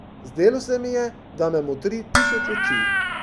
Zdelo se mi je, da me motri tisoč oči.